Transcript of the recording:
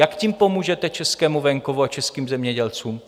Jak tím pomůžete českému venkovu a českým zemědělcům?